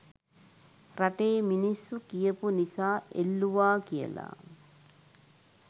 රටේ මිනිස්සු කියපු නිසා එල්ලුවා කියල.